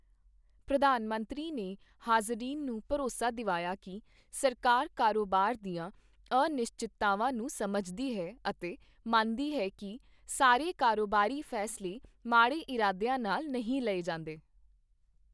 ਪ੍ਰਧਾਨ ਮੰਤਰੀ ਨੇ ਹਾਜ਼ਰੀਨ ਨੂੰ ਭਰੋਸਾ ਦਿਵਾਇਆ ਕੀ ਸਰਕਾਰ ਕਾਰੋਬਾਰ ਦੀਆਂ ਅਨਿਸ਼ਚਿਤਤਾਵਾਂ ਨੂੰ ਸਮਝਦੀ ਹੈ ਅਤੇ ਮੰਨਦੀ ਹੈ ਕੀ ਸਾਰੇ ਕਾਰੋਬਾਰੀ ਫੈਸਲੇ ਮਾੜੇ ਇਰਾਦੀਆਂ ਨਾਲ ਨਹੀਂ ਲਏ ਜਾਂਦੇ ।